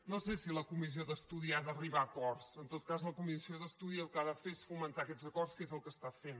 no sé si la comissió d’estudi ha d’arribar a acords en tot cas la comissió d’estudi el que ha de fer és fomentar aquests acords que és el que està fent